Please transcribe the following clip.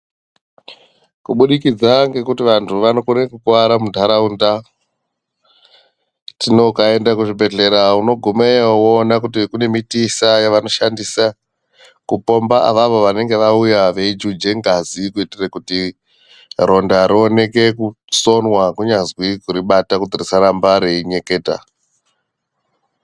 Kubudikidza ngekuti vantu vanokona kukuwara munharaunda, tino ukaenda kuzvibhendlera unogumayo woona kune mutiisa yavanoshandisa kupomba avavo vanenge vauya veijuja ngazi kuitira kuti ronda rioneke kusonwa kunyazi kuribata kuti risaramba reinyeketa.